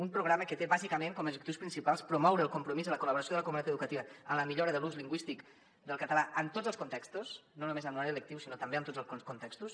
un programa que té bàsicament com a objectius principals promoure el compromís i la col·laboració de la comunitat educativa en la millora de l’ús lingüístic del català en tots els contextos no només en horari lectiu sinó també en tots els contextos